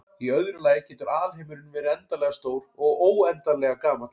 Í öðru lagi getur alheimurinn verið endanlega stór og óendanlega gamall.